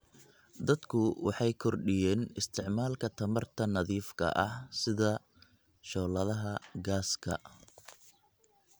Dadku waxay kordhiyeen isticmaalka tamarta nadiifka ah sida shooladaha gaaska.